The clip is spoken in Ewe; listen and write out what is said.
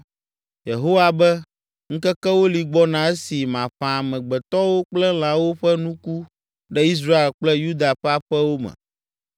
Yehowa be, “Ŋkekewo li gbɔna esi maƒã amegbetɔwo kple lãwo ƒe nuku ɖe Israel kple Yuda ƒe aƒewo me.